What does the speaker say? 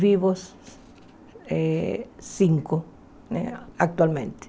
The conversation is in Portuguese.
Vivos eh cinco né, atualmente.